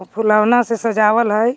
उ फूलवना से सजावल है.